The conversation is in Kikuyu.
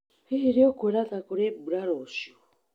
Hihi nĩ ũkuona ta kũrĩ mbura rũciũ?